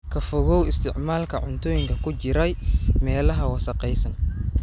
Ka fogow isticmaalka cuntooyinka ku jiray meelaha wasakhaysan.